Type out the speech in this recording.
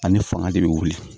Ani fanga de bɛ wuli